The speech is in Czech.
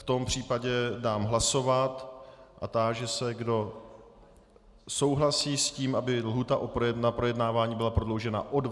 V tom případě dám hlasovat a táži se, kdo souhlasí s tím, aby lhůta na projednávání byla prodloužena o 20 dnů.